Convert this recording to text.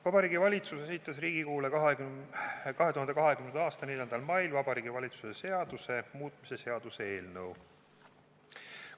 Vabariigi Valitsus esitas Riigikogule 2020. aasta 4. mail Vabariigi Valitsuse seaduse muutmise seaduse eelnõu.